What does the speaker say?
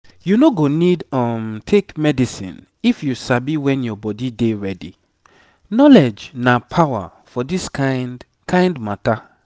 you no go need um take medicine if you sabi when your body dey ready. knowledge na power for this kind kind matter.